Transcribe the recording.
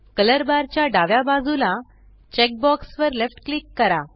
colour bar च्या डाव्या बाजूला चेकबॉक्स वर लेफ्ट क्लिक करा